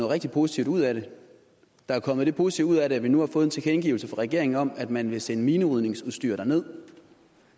rigtig positivt ud af det der er kommet det positive ud af det at vi nu har fået en tilkendegivelse fra regeringen om at man vil sende minerydningsudstyr derned